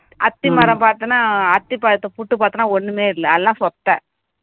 அத்திமரம் பார்த்தோம்ன்னா அத்திப்பழத்தை புட்டு பார்த்தோம்ன்னா ஒண்ணுமே இல்ல அதெல்லாம் சொத்தை